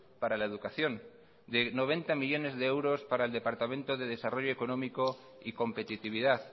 para la educación de noventa millónes de euros para el departamento de desarrollo económico y competitividad